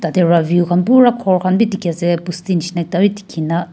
jatte tar view khan pura gour khan bhi dekhi ase pusti nisna ekta bhi dekhi na.